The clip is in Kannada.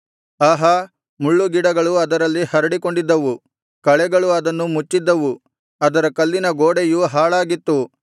ಆಹಾ ಮುಳ್ಳುಗಿಡಗಳು ಅದರಲ್ಲಿ ಹರಡಿಕೊಂಡಿದ್ದವು ಕಳೆಗಳು ಅದನ್ನು ಮುಚ್ಚಿದ್ದವು ಅದರ ಕಲ್ಲಿನ ಗೋಡೆಯು ಹಾಳಾಗಿತ್ತು